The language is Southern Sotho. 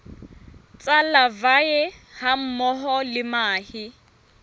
tsa larvae hammoho le mahe